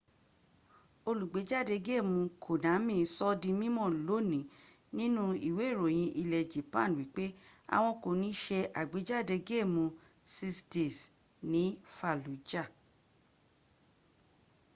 olùgbéjáde géèmù konami sọọ́ di mímọ̀ lónìí nínú ìwé ìròyìn ilẹ̀ japan wípé àwọn kò ní se àgbéjáde géèmù six days ní fallujah